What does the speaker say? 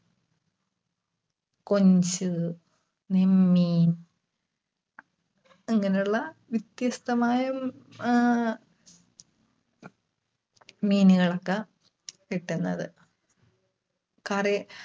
കൊഞ്ച്, നെന്മീൻ. അങ്ങനെ ഉള്ള വ്യത്യസ്തമായും ആഹ് മീനുകളൊക്കെ കിട്ടുന്നത്. കട